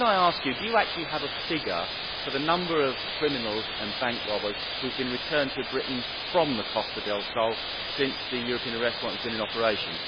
Baroness Ludford, can I ask you do you actually have a figure for the number of criminals and bank robbers who have been returned to Britain from the Costa del Sol since the European Arrest Warrant has been in operation?